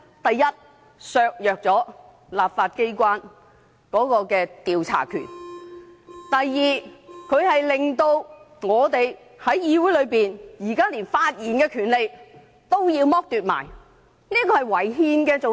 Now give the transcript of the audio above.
第一，會削弱立法機關的調查權；第二，令議員在議會內的發言權也被剝奪，這是違憲的。